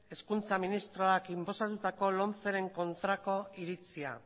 hezkuntza ministroak inposatutako lomceren kontrako iritzia